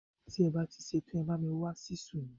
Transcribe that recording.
Tí ẹ bá ti ṣe tán, ẹ bá mi wá Ṣísù mi.